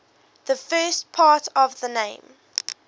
the first part of the name